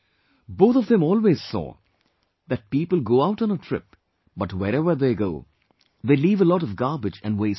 Both of them always saw that people go out on a trip, but, wherever they go, they leave a lot of garbage and waste behind